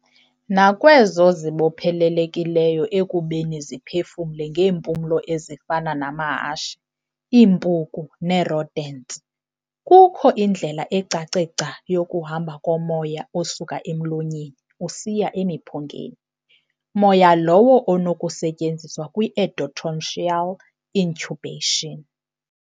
Nakwezo zibophelelekileyo ekubeni ziphefumle ngeempumlo ezifana namahashe, iimpuku nee-rodents, kukho indlela ecace gca yokuhamba komoya osuka emlonyeni usiya emiphungeni moya lowo onokusetyenziswa kwi-endotracheal intubation.